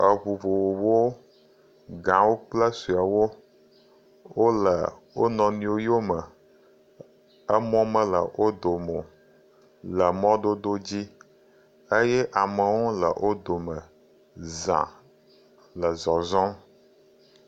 Ŋu vovovowo. Gãwo kple suewo wole wo nɔnɔewo yo me. Emɔ mele o dome o le mɔdodo dzi eye amewo le wo dome za le zɔzɔm.